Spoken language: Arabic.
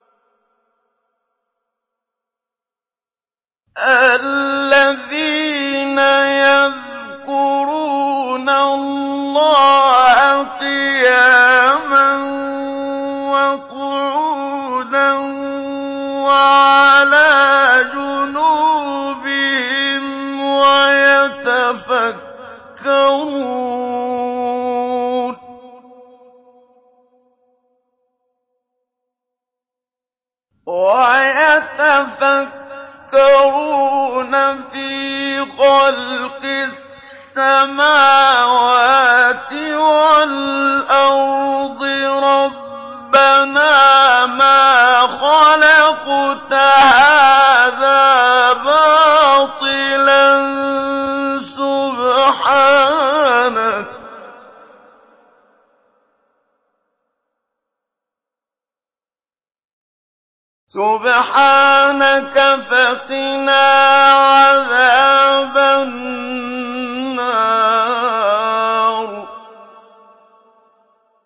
الَّذِينَ يَذْكُرُونَ اللَّهَ قِيَامًا وَقُعُودًا وَعَلَىٰ جُنُوبِهِمْ وَيَتَفَكَّرُونَ فِي خَلْقِ السَّمَاوَاتِ وَالْأَرْضِ رَبَّنَا مَا خَلَقْتَ هَٰذَا بَاطِلًا سُبْحَانَكَ فَقِنَا عَذَابَ النَّارِ